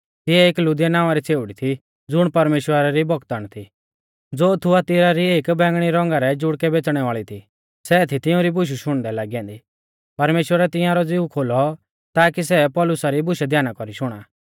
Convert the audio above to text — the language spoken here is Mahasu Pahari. तिऐ एक लुदिया नावां री छ़ेउड़ी थी ज़ुण परमेश्‍वरा री भगतण थी ज़ो थुआथीरा री एक बेंगणी रौंगा रै जुड़कै बेच़णै वाल़ी थी सै थी तिउंरी बुशु शुणदै लागी ऐन्दी परमेश्‍वरै तिंआरौ ज़िऊ खोलौ ताकी सै पौलुसा री बुशै ध्याना कौरी शुणा